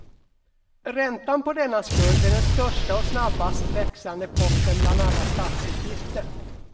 Räntan på denna skuld är den största och snabbast växande posten bland alla statsutgifter.